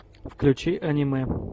включи аниме